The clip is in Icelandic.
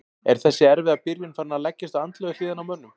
Er þessi erfiða byrjun farin að leggjast á andlegu hliðina á mönnum?